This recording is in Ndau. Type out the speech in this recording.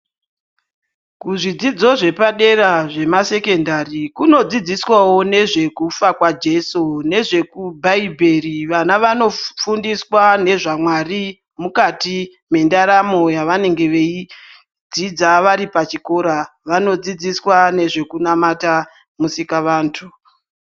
Kuzvidzidzo zvepadera zvemasekendari kunodzidziswawo ngezvekufa kwaJeso nezvebhaibheri. Vana vanofundiswa nezvaMwari mukati mendaramo yavanenge veidzidza varipachikora. Vanodzidziswa nezvekunamata musikavantu.